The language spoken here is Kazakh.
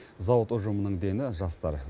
зауыт ұжымының дені жастар